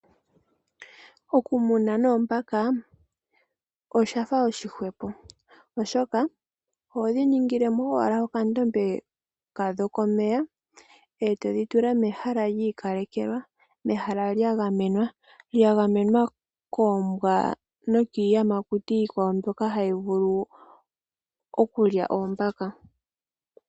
Okumuna noombaka oshafa oshihwepo oshoka ohodhi ningilemo owala okandombe kadho komeya eetodhi tula mehala lyiikalekelwa mehala lyagenwa, lyagamenwa koombwa nokiiyamakuti iikwawo mbyoka hayi vulu okulya oombaka.